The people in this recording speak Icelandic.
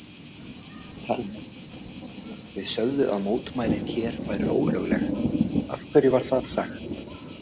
Telma: Þið sögðuð að mótmælin hér væru ólögleg, af hverju var það sagt?